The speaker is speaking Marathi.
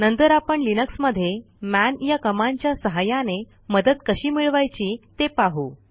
नंतर आपण लिनक्समध्ये मन या कमांडच्या सहाय्याने मदत कशी मिळवायची ते पाहू